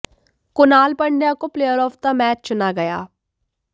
कुणाल पंड्या को player of the match चुना गया